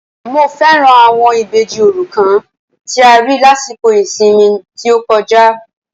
Mo fẹ́ràn àwọn Ìbejì òrukàn tí a rí lásìkò ìsinmi tí ó kọjá